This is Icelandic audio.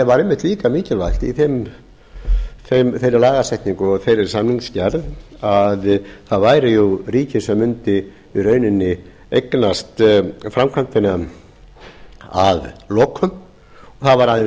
væri einmitt líka mikilvægt í þeirri lagasetningu og þeirri samningsgerð að að væri ríkið sem mundi í rauninni eignast framkvæmdina að lokum og það væri aðeins